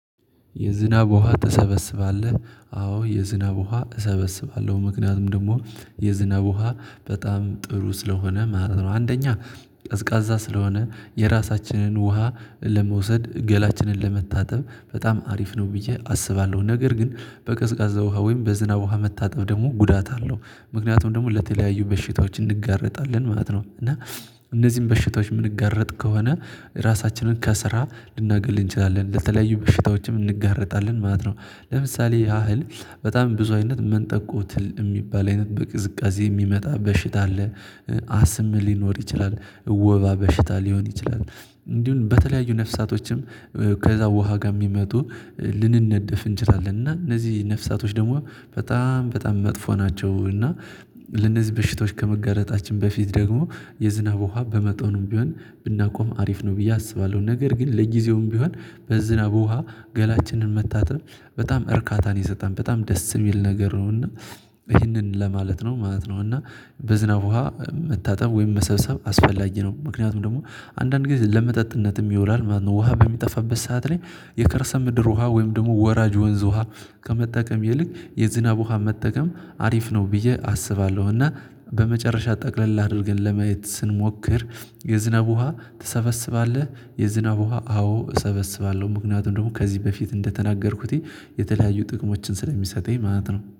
የዝናብ ውሃ ትሰበስባለህ? አዎ የዝናብ ውሃ እሰበስባለሁ ምክንያቱም ደግሞ የዝናብ ውሃ በጣም ጥሩ ስለሆነ ማለት ነው። አንደኛ ቀዝቃዛ ስለሆነ የራሳችንን ውሃ ለመውሰድ ገላችንን ለመታጠብ በጣም አሪፍ ነው። ብዬ አስባለሁ ነገር ግን በቀዝቃዛ ውሃ ወይም በዝናብ ውሃ መታጠብ ደግሞ ጉዳት አለው ምክንያቱም ደግሞ ለተለያዩ በሽታዎች እንጋረጣለን ማለት ነው። እና እነዚህን በሽታዎች የምንጋረጥ ከሆነ ራሳችንን ከስራ ልናገል እንችላለን ለተለያዩ በሽታዎችም እንጋረጣለን ማለት ነው። ለምሳሌ ያህል በጣም ብዙ አይነት መንጠቆ ትል እሚባል አይነት በቅዝቃዜ ሚመጣ በሽታ አለ። አስም ሊኖር ይችላል። ወባ በሽታ ሊሆን ይችላል። እንዲሁም በተለያዩ ነፍሳቶችም ከዛ ውሃ ጋር ከሚመጡ ልንነደፍ እንችላለን እና እነዚህ ነፍሳቶች ደግሞ በጣም በጣም መጥፎ ናቸው። እና ለነዚህ በሽቶዎች ከመጋረጣችን በፊት ደግሞ የዝናብ ውሃ በመጠኑም ቢሆን ብናቆም አሪፍ ነው ብዬ አስባለሁ። ነገር ግን ለጊዜውም ቢሆን በዝናብ ውሃ ገላችንን መታጠብ በጣም እርካታን ይሰጣል በጣም ደስ ሚል ነገር ነው። እና ይህንን ለማለት ነው ማለት ነው። እና በዝናብ ውሃ መታጠብ ወይም መሰብሰብ አስፈላጊ ነው ምክንያቱም ደግሞ አንዳንድ ጊዜ ለመጠጥነትም ይውላል ማለት ነው። ውሃ በሚጠፋበት ሰዓት ላይ የከርሰ ምድር ውሃ ወይም ደግሞ ወራጅ ወንዝ ውሃ ከመጠቀም ይልቅ የዝናብ ውሃ መጠቀም አሪፍ ነው ብዬ አስባለሁ። እና በመጨረሻ ጠቅለል አድርገን ለመየት ስንሞክር የዝናብ ውሃ ትሰበስባለህ? የዝናብ ውሃ አዎ እሰበስባለሁ ምክንያቱም ደግሞ ከዚህ በፊት እንደተናገርኩት የተለያዩ ጥቅሞችን ስለሚሰጠኝ ማለት ነው